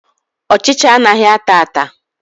Ọchịcha anaghị ata ata.